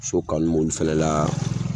So kanu m'olu fɛnɛ la